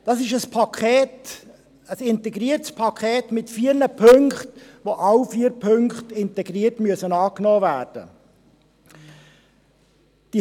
Das ist ein integriertes Paket mit vier Punkten, bei dem alle vier Punkte integriert angenommen werden müssen.